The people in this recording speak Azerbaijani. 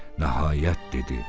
Nəhayət dedi: